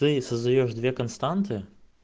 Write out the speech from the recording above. ты создаёшь две константы